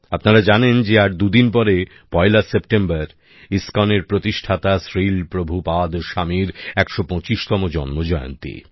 আপনারা জানেন যে আর দুদিন পরে পয়লা সেপ্টেম্বর ইসকনের প্রতিষ্ঠাতা শ্রীল প্রভুপাদ স্বামীর 125 তম জন্ম জয়ন্তী